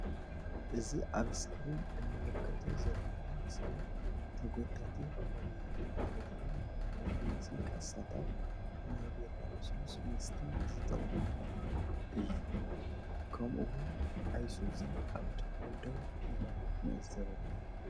እዚ ኣብ እስክሪን እንምልከቶ ዘልውና ምስሊ ተጎታቲ ዓረብያ ማለት እውን ንመመላለሲ ካሳታት ናይ ቢራ ልስሉስ መስት ዝጠቅመና እዩ። ከምኡ እውን ኣይሱዚ ኣብ ጥቅኡ ደው ኢላ ንዕዘብ ኣለና።